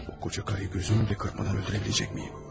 Bu qoca qarı gözündə qırpana öldürə biləcək miyim?